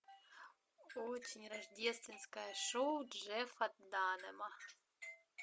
очень рождественское шоу джеффа данэма